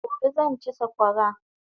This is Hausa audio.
Gobe zan chi sakwara